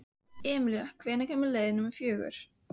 Emilía, hvenær kemur leið númer fjörutíu?